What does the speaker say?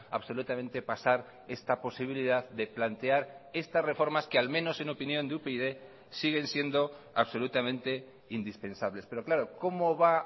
absolutamente pasar esta posibilidad de plantear estas reformas que al menos en opinión de upyd siguen siendo absolutamente indispensables pero claro cómo va